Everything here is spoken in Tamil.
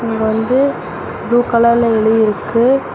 இங்க வந்து ப்ளூ கலர்ல எழுதி இருக்கு.